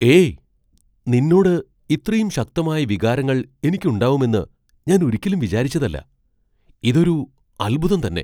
ഏയ്! നിന്നോട് ഇത്രയും ശക്തമായ വികാരങ്ങൾ എനിക്ക് ഉണ്ടാവുമെന്ന് ഞാൻ ഒരിക്കലും വിചാരിച്ചതല്ല. ഇതൊരു അൽഭുതം തന്നെ .